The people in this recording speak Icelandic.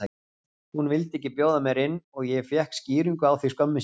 Hún vildi ekki bjóða mér inn og ég fékk skýringu á því skömmu síðar